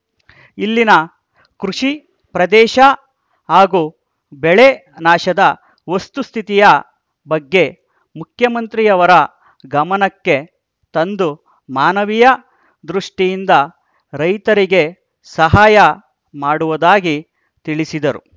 ಇಲ್ಲಿನ ಕೃಷಿ ಪ್ರದೇಶ ಹಾಗೂ ಬೆಳೆ ನಾಶದ ವಸ್ತುಸ್ಥಿತಿಯ ಬಗ್ಗೆ ಮುಖ್ಯಮಂತ್ರಿಯವರ ಗಮನಕ್ಕೆ ತಂದು ಮಾನವೀಯ ದೃಷ್ಟಿಯಿಂದ ರೈತರಿಗೆ ಸಹಾಯ ಮಾಡುವುದಾಗಿ ತಿಳಿಸಿದರು